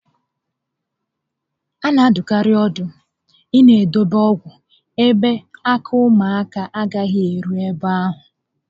A na adụkarị ọdụ ịna edobe ọgwụ ebe ala ụmụaka agaghị eru ebe ahụ